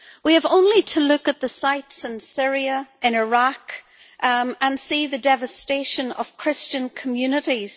We have only to look at the sights in Syria, in Iraq, and see the devastation of Christian communities.